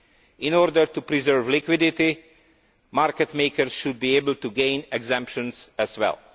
In order to preserve liquidity, market makers should be able to gain exemptions as well.